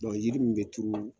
yiri min be turu